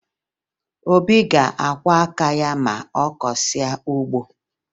Obi ga-akwọ aka ya ma ọ kọsịa ugbo